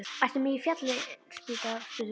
Ertu með í Fallin spýta? spurði Vala.